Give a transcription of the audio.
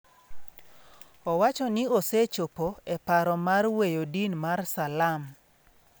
Owacho ni osechopo e paro mar weyo din mar Salam.